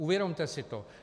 Uvědomte si to.